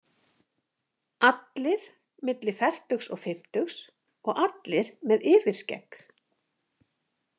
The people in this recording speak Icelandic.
Allir milli fertugs og fimmtugs og allir með yfirskegg.